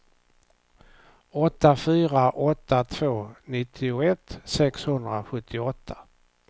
åtta fyra åtta två nittioett sexhundrasjuttioåtta